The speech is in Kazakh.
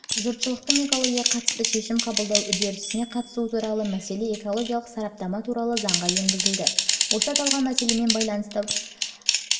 жұртшылықтың экологияға қатысты шешім қабылдау үрдісіне қатысуы туралы мәселе экологиялық сараптама туралы заңға енгізілді осы аталған мәселемен байланысты процедураларды